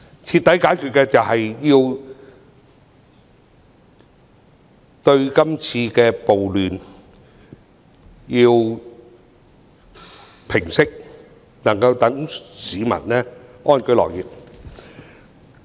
徹底解決的方法是平息今次的暴亂，讓市民能夠安居樂業。